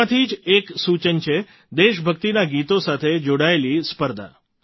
તેમાંથી જ એક સૂચન છે દેશબક્તિનાં ગીતો સાથે જોડાયેલી સ્પર્ધા